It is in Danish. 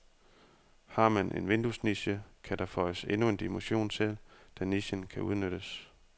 Har man en vinduesniche, kan der føjes endnu en dimension til, da nichen kan udnyttes.